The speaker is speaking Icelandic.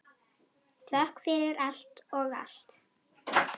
Þökk fyrir allt og allt.